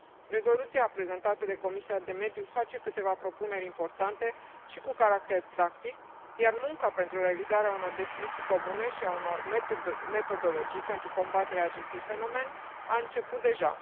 Rezoluția prezentată de Comisia pentru mediu face câteva propuneri importante și cu caracter practic, iar munca pentru realizarea unor definiții comune și a unor metodologii pentru combaterea acestui fenomen a început deja.